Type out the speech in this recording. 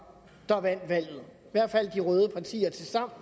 der vandt valget i hvert fald de røde partier til sammen